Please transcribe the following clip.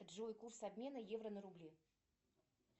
джой курс обмена евро на рубли